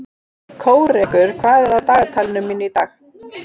Kórekur, hvað er á dagatalinu mínu í dag?